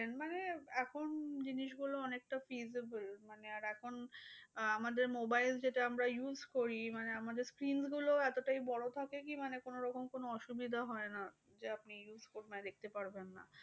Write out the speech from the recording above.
এখন জিনিসগুলো অনেকটা feasible মানে আর এখন আহ আমাদের mobile যেটা আমরা use করি, মানে আমাদের screen গুলো এতটাই বড় থাকে কি মানে কোনোরকম কোনো অসুবিধা হয় না। যে আপনি দেখতে পারবেন না।